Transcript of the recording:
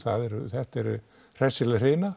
þetta eru hressileg